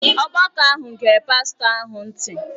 Ọgbakọ ahụ gere pastọ ahụ ntị.